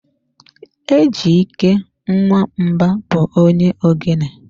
Ejyke Nwamba bụ onye ogene.